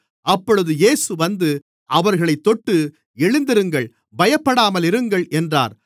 அப்பொழுது இயேசு வந்து அவர்களைத் தொட்டு எழுந்திருங்கள் பயப்படாமலிருங்கள் என்றார்